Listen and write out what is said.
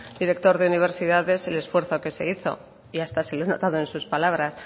director de universidad sé el esfuerzo que se hizo y hasta se lo he notado en sus palabras